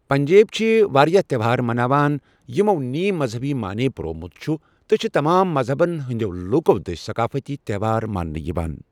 پنجٲبۍ چھِ وارِیاہ تیوہار مناوان، یمو نیم مزہبی معنے پرٛوومت چھ تہٕ چھِ تمام مزہبن ہندٮ۪و لوٗكو دٔسۍ ثقافتی تیوہار مانٛنہٕ یوان ۔